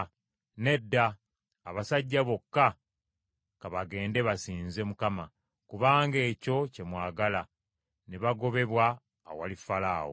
Nedda! Abasajja bokka ka bagende basinze Mukama ; kubanga ekyo kye mwagala.” Ne bagobebwa awali Falaawo.